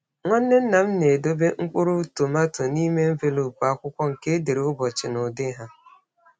Nwanne nna m na-edobe mkpụrụ tomato n’ime envelopu akwụkwọ nke e dere ụbọchị na ụdị ha.